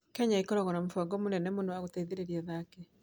Kenya ĩkoragwo na mũbango mũnene wa gũteithĩrĩria athaki.